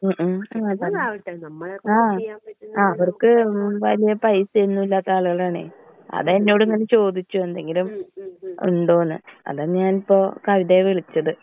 ആ അവർക്ക് ഹ്മ് വലിയ പൈസയൊന്നും ഇല്ലാത്ത ആളുകളാണേ. അതാ എന്നോട് ഇങ്ങനെ ചോദിച്ചത് എന്തെങ്കിലും ഉണ്ടോന്ന്. അതാ ഞാനിപ്പോ കവിതയെ വിളിച്ചത്.